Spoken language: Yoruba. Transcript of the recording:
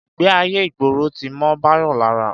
Ìgbé ayé ìgboro ti mọ́ Báyọ̀ lára